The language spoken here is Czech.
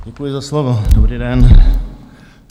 Děkuji za slovo, dobrý den.